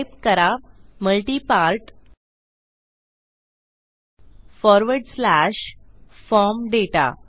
type करा multi part forward slash form दाता